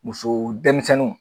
Muso denmisɛnninw.